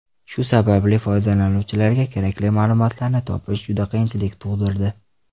Shu sababli foydalanuvchilarga kerakli ma’lumotlarni topish juda qiyinchilik tug‘dirardi.